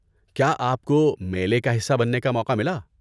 کیا آپ کو میلے کا حصہ بننے کا موقع ملا؟